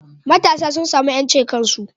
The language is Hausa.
Matasa sun samu yancin kansu